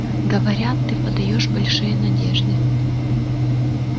говорят ты подаёшь большие надежды